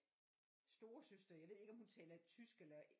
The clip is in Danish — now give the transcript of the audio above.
Storesøster jeg ved ikke om hun taler tysk eller